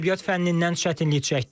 Ədəbiyyat fənnindən çətinlik çəkdim.